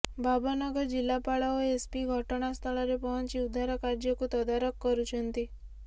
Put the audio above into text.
ଭାବନଗର ଜିଲାପାଳ ଓ ଏସ୍ପି ଘଟଣାସ୍ଥଳରେ ପହଞ୍ଚି ଉଦ୍ଧାର କାର୍ଯ୍ୟକୁ ତଦାରଖ କରୁଛନ୍ତି